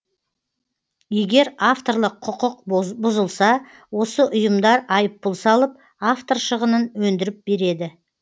егер авторлық құқық бұзылса осы ұйымдар айыппұл салып автор шығынын өндіріп береді